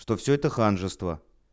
что всё это ханжество